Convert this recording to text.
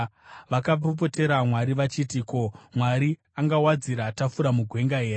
Vakapopotera Mwari, vachiti, “Ko, Mwari angawadzira tafura mugwenga here?